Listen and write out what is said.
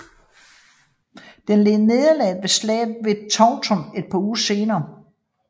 Den led nederlag ved Slaget ved Towton et par uger senere